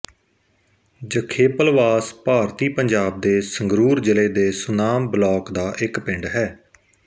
ਜਖੇਪਲਵਾਸ ਭਾਰਤੀ ਪੰਜਾਬ ਦੇ ਸੰਗਰੂਰ ਜ਼ਿਲ੍ਹੇ ਦੇ ਸੁਨਾਮ ਬਲਾਕ ਦਾ ਇੱਕ ਪਿੰਡ ਹੈ